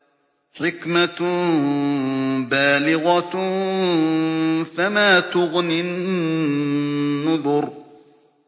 حِكْمَةٌ بَالِغَةٌ ۖ فَمَا تُغْنِ النُّذُرُ